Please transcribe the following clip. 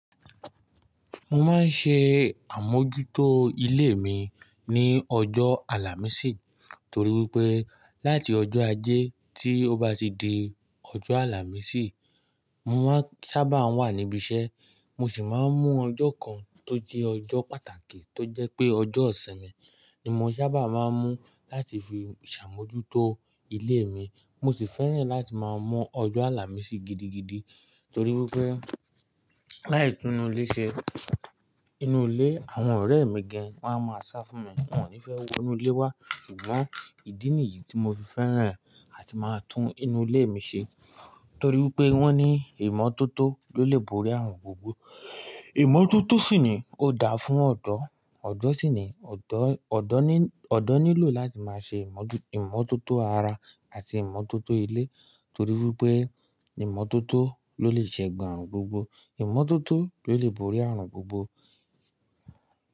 Mo máa ń ṣe àmójútó ilé mi ní ọjọ́ àlàmísì torí wípé láti ọjọ́ ajé tí ó bá ti di ọjọ́ àlàmísì, mo máa sábà ń wà níbi iṣẹ́, mo sì máa ń mú ọjọ́ kan tó jẹ́ ọjọ́ pàtàkì tó jẹ́ pé ọjọ́ isimin ni mo sábà máa ń mú láti fi ṣàmójútó ilé mi. Mo sì fẹ́ràn láti máa mú ọjọ́ àlàmísì gidigidi torí wípé láì tún inú ilé ṣe, inú ilé àwọn ọ̀rẹ́ mi gan won a máa sá fún mi. Wọn ò ní fẹ́ wo inú ilé wa ṣùgbọ́n ìdí nìyí tí mo fi fẹ́ràn láti máa tún inú ilé mi ṣe torí wípé wọ́n ní ìmọ́tótó ló lè borí ààrùn gbogbo. Ìmọ́tótó sì ni ó dáa fún ọ̀dọ́, ọ̀dọ́ sì ni, ọ̀dọ́ nílò láti máa ṣe ìmọ́tótó ara àti ìmọ́tótó ilé torí wípé ìmọ́tótó ló lè ṣegun ààrùn gbogbo. Ìmọ́tótó ló lè borí ààrùn gbogbo.